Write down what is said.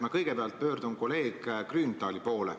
Ma kõigepealt pöördun kolleeg Grünthali poole.